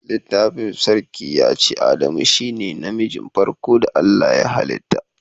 Littafin sarki ya ce"Adamu shine na mijin farko da Allah ya halita."